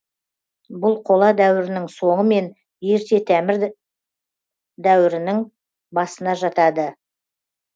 бұл қола дәуірінің соңы мен ерте дәуірінің басына жатады